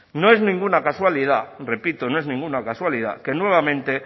no es ninguna casualidad repito no es ninguna casualidad que nuevamente